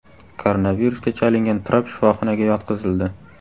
Koronavirusga chalingan Tramp shifoxonaga yotqizildi.